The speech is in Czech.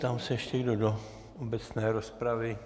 Ptám se, ještě kdo do obecné rozpravy.